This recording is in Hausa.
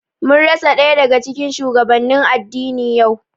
Mun rasa ɗaya daga cikin shugabannin addini yau